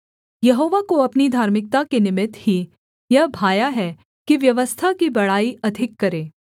यहोवा को अपनी धार्मिकता के निमित्त ही यह भाया है कि व्यवस्था की बड़ाई अधिक करे